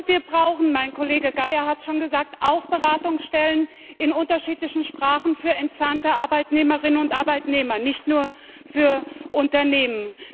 Wir brauchen mein Kollege Geier hat es schon gesagt auch Beratungsstellen in unterschiedlichen Sprachen für entsandte Arbeitnehmerinnen und Arbeitnehmer, nicht nur für Unternehmen.